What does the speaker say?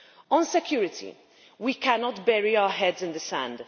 On security, we cannot bury our heads in the sand.